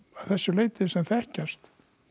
þessu leyti sem þekkjast